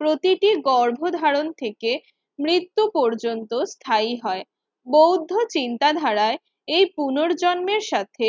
প্রতিটি গর্ভধারণ থেকে মৃত্যু পর্যন্ত স্থায়ী হয়। বৌদ্ধ চিন্তা ধারায় এই পুনর্জন্মের সাথে